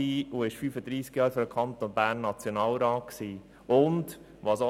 und er war während 35 Jahren Nationalrat für den Kanton Bern.